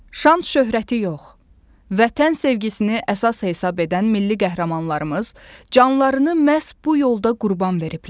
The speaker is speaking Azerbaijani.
Şan-şöhrəti yox, Vətən sevgisini əsas hesab edən milli qəhrəmanlarımız canlarını məhz bu yolda qurban veriblər.